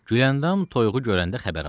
Güləndam toyuğu görəndə xəbər aldı.